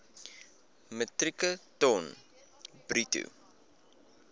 metrieke ton bruto